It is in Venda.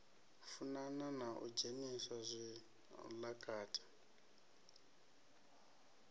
funana na u dzhenisa zwilakati